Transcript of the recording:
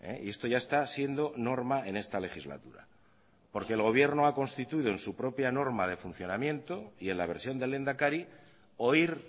y esto ya está siendo norma en esta legislatura porque el gobierno ha constituido en su propia norma de funcionamiento y en la versión del lehendakari oír